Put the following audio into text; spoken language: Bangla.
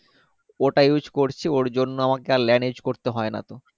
ওটা use করছি ওর জন্য আমাকে আর lane use করতে হয়না তো